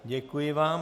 Děkuji vám.